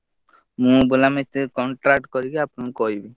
ମୁଁ ବୁଲା ମିସ୍ତ୍ରୀକୁ contact କରିକି ଆପଣଙ୍କୁ କହିବି।